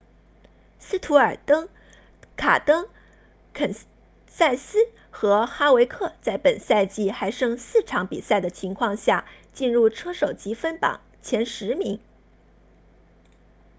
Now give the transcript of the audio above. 斯图尔特戈登肯塞斯和哈维克在本赛季还剩四场比赛的情况下进入车手积分榜前十名